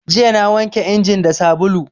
Jiya na wanke injin da sabulu